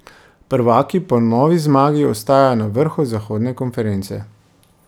Prvaki po novi zmagi ostajajo na vrhu zahodne konference.